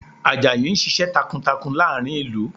Àjàyí ń ṣiṣẹ́ takuntakun láàrin ìlú